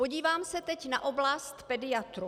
Podívám se teď na oblast pediatrů.